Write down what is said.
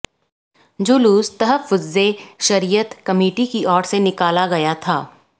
जुलुस तहफ़्फ़ुज़े शरीयत कमिटी की ओर से निकाला गया था